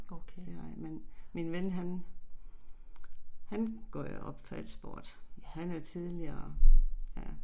Okay. Ja